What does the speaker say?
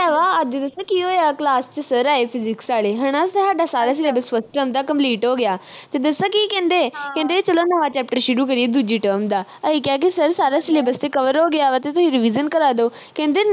ਓਹ ਹੈ ਵਾ ਅੱਜ ਦੱਸਾ ਕੀ ਹੋਇਆ ਕਲਾਸ ਵਿਚ sir ਆਏ physics ਵਾਲੇ ਹਣਾ ਫਿਰ ਸਾਡਾ ਸਾਰਾ syllabus first term ਦਾ complete ਹੋ ਗਿਆ ਤੇ ਦੱਸਾ ਕੀ ਕਹਿੰਦੇ ਕਹਿੰਦੇ ਚਲੋ ਨਵਾਂ chapter ਸ਼ੁਰੂ ਕਰੀਏ ਦੂਜੀ term ਦਾ ਅਹੀ ਕਿਹਾ ਕਿ sir ਸਾਰਾ syllabus ਤੇ cover ਹੋ ਗਿਆ ਵਾ ਤੁਹੀਂ revision ਕਰਾ ਦੋ ਕਹਿੰਦੇ